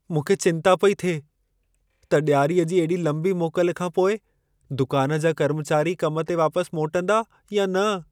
मूंखे चिंता पेई थिए त ॾियारीअ जी एॾी लंबी मोकल खां पोइ दुकान जा कर्मचारी कम ते वापसि मोटंदा या न।